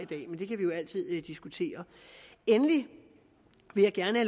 det kan vi jo altid diskutere endelig vil jeg gerne